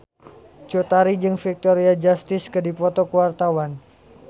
Cut Tari jeung Victoria Justice keur dipoto ku wartawan